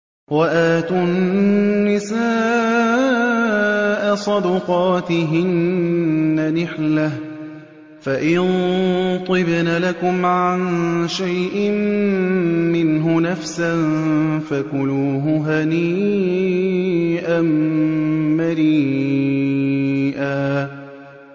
وَآتُوا النِّسَاءَ صَدُقَاتِهِنَّ نِحْلَةً ۚ فَإِن طِبْنَ لَكُمْ عَن شَيْءٍ مِّنْهُ نَفْسًا فَكُلُوهُ هَنِيئًا مَّرِيئًا